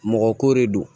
Mɔgɔ ko de do